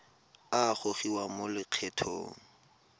a a gogiwang mo lokgethong